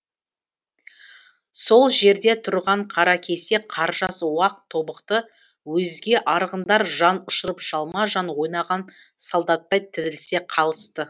сол жерде тұрған қаракесек қаржас уақ тобықты өзге арғындар жан ұшырып жалма жан ойнаған солдаттай тізілісе қалысты